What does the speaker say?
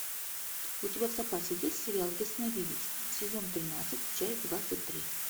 у тебя в запасе есть сериал ясновидец сезон тринадцать часть двадцать три